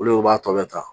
Olu b'a tɔ bɛɛ ta